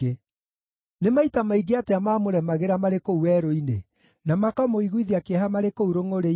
Nĩ maita maingĩ atĩa maamũremagĩra marĩ kũu werũ-inĩ, na makamũiguithia kĩeha marĩ kũu rũngʼũrĩ-inĩ.